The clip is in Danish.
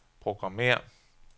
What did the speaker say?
programmér